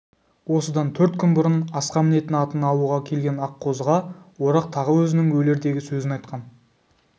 осыдан төрт күн бұрын асқа мінетін атын алуға келген аққозыға орақ тағы өзінің өлердегі сөзін айтқан